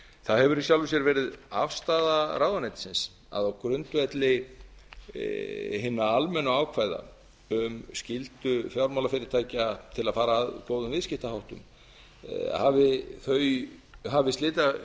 það hefur í sjálfu sér verið afstaða ráðuneytisins að á grundvelli hinna almennu ákvæða um skyldu fjármálafyrirtækja til að fara að góðum viðskiptaháttum hafi